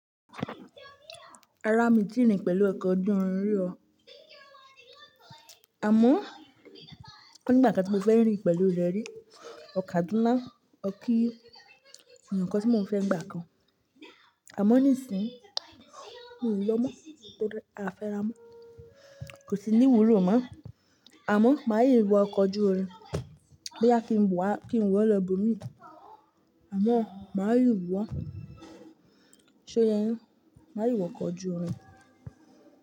Rárá mí tíì rìn pẹ̀lú ọkọ̀ ojú irin rí o, àmọ́ ó nígbà kan tí mo fẹ́ rìn pẹ̀lú rẹ̀ rí, lọ Kàdúná, lọ kí èyàn kan tí mò ń fẹ́ nígbà kan. Àmọ́ nísìnyí, mi ò lọ mọ́, a fẹ́ra mọ́, kò sì níwúlò mọ́. Àmọ́ máa yíwọ ọkọ̀ ojú irin, bóyá kí n wọ̀ lọ ibòmíì, àmọ́ máa yíwọ̀ ọ́. Ṣó ye yin? Máa yíwọ ọkọ̀ ojú irin?